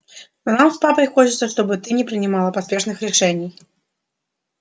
но нам с папой хочется чтобы ты не принимала поспешных решений